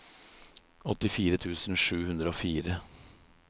åttifire tusen sju hundre og fire